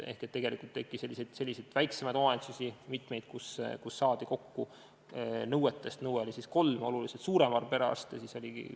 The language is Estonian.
Ehk tegelikult oli mitmeid selliseid väiksemaid omavalitsusi, kus saadi kokku nõudest tunduvalt suurem arv perearste – nõutud oli kolm.